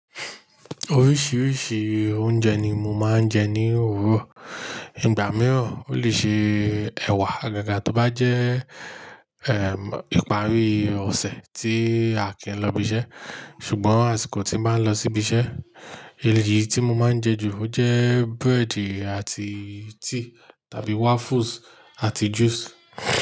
Oríṣiríṣi oúnjẹ ni mo máa ń jẹ ní òwúrọ̀. Ìgbà mìíràn ó lè ṣe ẹ̀wà, àgàgà tó bá jẹ́, ehm, ìparí ọ̀sẹ̀ tí Akin lọ ibi iṣẹ́. Ṣùgbọ́n àsìkò tí bàá ń lọ sí ibi iṣẹ́, èyí tí mo máa ń jẹ ju ojẹ búrẹ́dì àti tíì tàbí waffles àti juice.